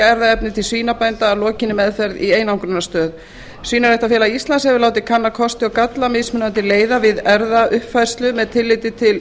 erfðaefnið til svínabænda að lokinni meðferð í einangrunarstöð svínaræktarfélag íslands hefur látið kanna kosti og galla mismunandi leiða við erfðauppfærslu með tilliti til